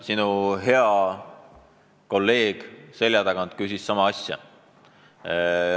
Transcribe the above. Sinu hea kolleeg selja tagant küsis sama asja.